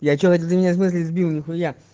я что-то ты меня с мысли сбил нихуя